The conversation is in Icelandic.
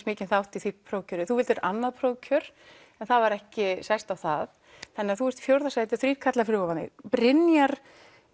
mikinn þátt í prófkjöri þú vildir annað prófkjör en það var ekki sæst á það þannig þú ert í fjórða sæti og þrír karlar fyrir ofan þig Brynjar